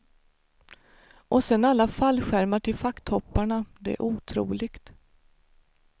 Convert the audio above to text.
Och sen alla fallskärmar till facktopparna, det är otroligt.